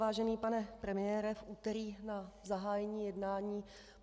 Vážený pane premiére, v úterý na zahájení jednání